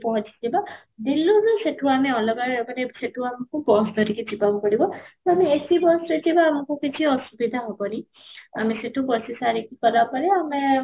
ପହଞ୍ଚିବା ଦିଲ୍ଲୀରୁ ସେଠି ଆମେ ଅଲଗା ମାନେ ସେଠୁ ଆମକୁ bus ଧରିକି ଯିବାକୁ ପଡିବ ତ ଆମେ AC bus ରେ ଯିବା ଆମକୁ କିଛି ଅସୁବିଧା ହେବନି, ଆମେ ସେଠୁ ବସି ସାରି କି ଗଲା ପରେ ଆମେ